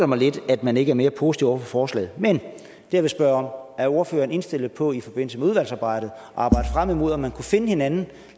mig lidt at man ikke er mere positiv over for forslaget men det jeg vil spørge er er ordføreren indstillet på i forbindelse med udvalgsarbejdet at arbejde frem imod at man kunne finde hinanden og